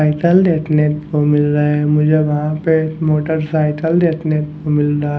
cycle देखने को मिल रहा है मुझे वहां पे मोटरसाइकल देखने को मिल रहा--